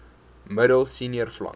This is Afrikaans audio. middel senior vlak